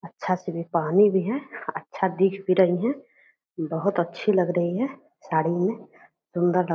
अच्छा साड़ी पहनी हुई हैं। अच्छा दिख भी रही हैं। बहुत अच्छी लग रही हैं साड़ी में। सुंदर लग --